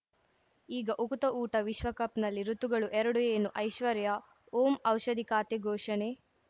ಈಗ ಉಕುತ ಊಟ ವಿಶ್ವಕಪ್‌ನಲ್ಲಿ ಋತುಗಳು ಎರಡು ಏನು ಐಶ್ವರ್ಯಾ ಓಂ ಔಷಧಿ ಖಾತೆ ಘೋಷಣೆ